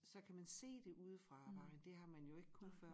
Så kan man se det ude fra vejen det har man jo ikke kunne før